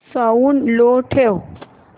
sound low ठेव